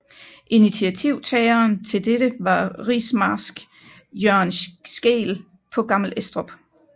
Initiativtageren til dette var rigsmarsk Jørgen Scheel på Gammel Estrup